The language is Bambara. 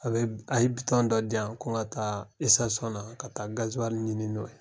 A be, a ye bitɔn dɔ diyan ko n ka taa ka taa gaziwali ɲini n'o ye.